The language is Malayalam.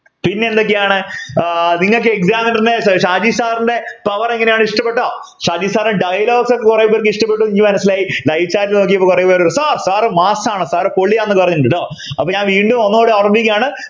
പിന്നെ എന്തൊക്കെയാണ് ആഹ് നിങ്ങക്ക് examiner ഷാജി sir ൻ്റെ power എങ്ങനെയാണ് ഇഷ്ടപ്പെട്ടോ ഷാജി sir dialogue ഒക്കെ കുറെ പേർക്ക് ഇഷ്ടപ്പെട്ടു ന്നു മനസിലായി live നോക്കിയപ്പോ കുറെ പേര് sir sir mass ആണ് sir പൊളിയാണെന്നൊക്കെ പറഞ്ഞിട്ടുണ്ട് ട്ടോ അപ്പൊ ഞാൻ വീണ്ടും ഒന്നുകൂടി ഓർമിപ്പിക്കുകയാണ്